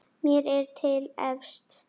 Mér er til efs.